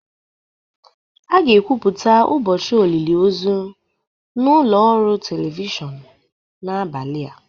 A ga-ekwupụta ụbọchị olili ozu na ụlọ ọrụ telivishọn n'abalị a